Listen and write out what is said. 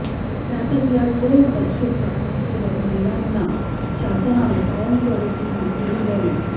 त्यातच या ठोस बक्षीस रकमेसोबत मल्लांना शासनाने कायमस्वरूपी नोकरीही द्यावी